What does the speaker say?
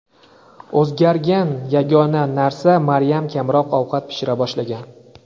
O‘zgargan yagona narsa Maryam kamroq ovqat pishira boshlagan.